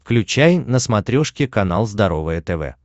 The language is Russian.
включай на смотрешке канал здоровое тв